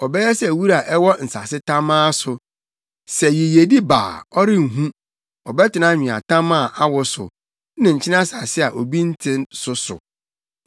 Ɔbɛyɛ sɛ wura a ɛwɔ nsase tamaa so; sɛ yiyedi ba a ɔrenhu, ɔbɛtena nweatam a awo so, ne nkyene asase a obi nte so so.